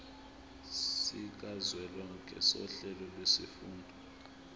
sikazwelonke sohlelo lwezifundo